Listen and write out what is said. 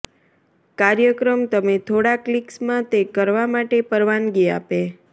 કાર્યક્રમ તમે થોડા ક્લિક્સ માં તે કરવા માટે પરવાનગી આપે